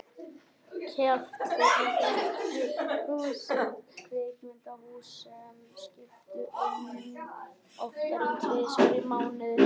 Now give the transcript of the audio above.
Kjaftfullra kaffihúsa og kvikmyndahúsa sem skiptu um myndir oftar en tvisvar í mánuði.